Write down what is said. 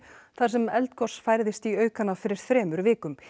þar sem eldgos færðist í aukana fyrir þremur vikum